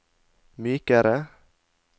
mykere